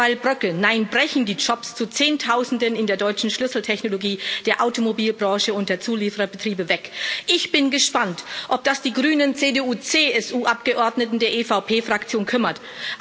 Derweilen bröckeln, nein, brechen die Jobs zu Zehntausenden in der deutschen Schlüsseltechnologie, der Automobilbranche und ihren Zuliefererbetrieben, weg. Ich bin gespannt, ob das die grünen CDU CSU Abgeordneten der EVP Fraktion kümmert.